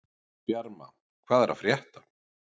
Bjarma, hvað er að frétta?